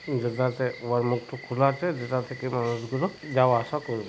যেটাতে উয়ার মুখটু খুলে আছে যেটা থেকে মানুষগুলো যাওয়া আসা করবে।